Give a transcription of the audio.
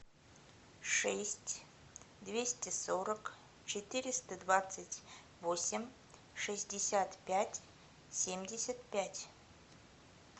шесть двести сорок четыреста двадцать восемь шестьдесят пять семьдесят пять